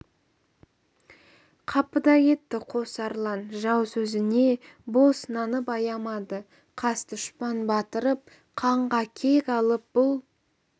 қапыда кетті қос арлан жау сөзіне бос нанып аямады қас дұшпан батырып қанға кек алып бұл